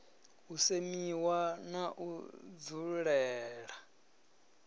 u semiwa na u dzulela